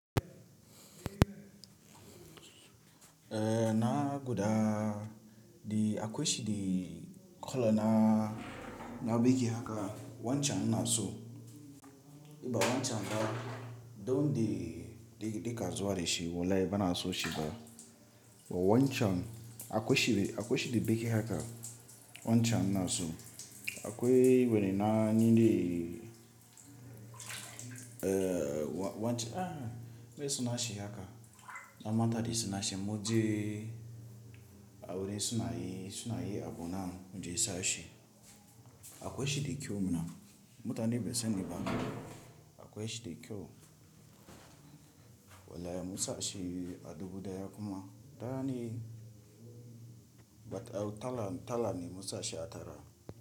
Eh na guda, akwai shi da colour na, na bake haka wancan na so. Ba wancan ba, don de ka zuwa da shi, wallahi ba na so shi ba. Ba wancan, akwai shi da bake haka wancan na so. Akwai wani na ninde, eh wancan ai mai sunan shi haka. Na manta da suna shi, in mun je a wuri suna yi, suna yi abu nan mu je sa shi. Akwai shi da kyau muna, mutane bai sani ba. Akwai shi da kyau. Wallahi mu sa shi a dubu daya kuma tara ne, but eh tara, tara ne mu sa shi a tara.